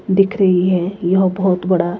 दिख रहीं है यह बहोत बड़ा--